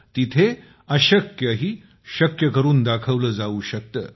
तेथे अशक्यही शक्य करून दाखवलं जाऊ शकतं